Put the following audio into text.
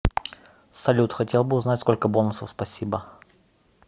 салют хотел бы узнать сколько бонусов спасибо